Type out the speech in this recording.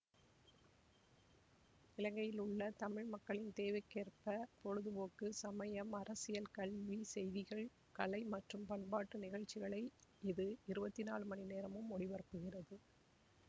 இலங்கையில் உள்ள தமிழ் மக்களின் தேவைக்கேற்ப பொழுதுபோக்கு சமயம் அரசியல் கல்வி செய்திகள் கலை மற்றும் பண்பாட்டு நிகழ்ச்சிகளை இது இருபத்தி நாலு மணிநேரமும் ஒளிபரப்புகிறது